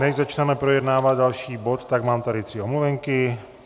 Než začneme projednávat další bod, tak tady mám tři omluvenky.